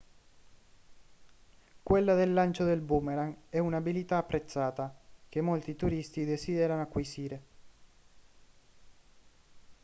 quella del lancio del boomerang è un'abilità apprezzata che molti turisti desiderano acquisire